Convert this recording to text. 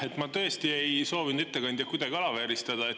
Ma tõesti ei soovinud ettekandjat kuidagi alavääristada.